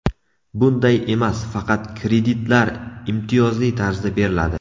Bunday emas, faqat kreditlar imtiyozli tarzda beriladi.